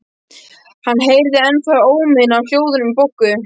Hann heyrði ennþá óminn af hljóðunum í Boggu.